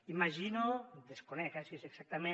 imagino desconec eh si és exactament